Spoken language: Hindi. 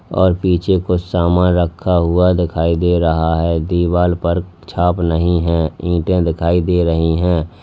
और पीछे कुछ सामान रखा हुआ दिखाई दे रहा है दीवाल पर छाप नहीं है ईंटे दिखाई दे रही हैं।